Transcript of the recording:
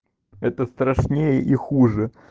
это страшнее и хуже